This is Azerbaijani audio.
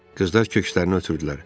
Qızlar kökslərini ötürdülər.